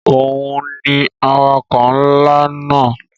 Òhun ni awakọ̀ ńlá náà.